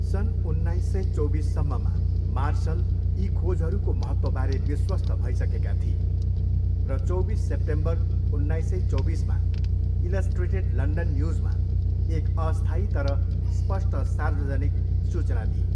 सन् उन्नाइस सय चौबिससम्ममा, मार्सलले यी खोजहरूको महत्त्वबारे विश्वस्त भइसकेका थिए र चौबिस सेप्टेम्बर उन्नाइस सय चौबिसमा इलस्ट्रेटेड लन्डन न्युजमा एक अस्थायी तर स्पष्ट सार्वजनिक सूचना दिए।